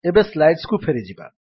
ଏବେ ସ୍ଲାଇଡ୍ସକୁ ଫେରିଯିବା